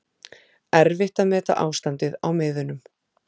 Erfitt að meta ástandið á miðunum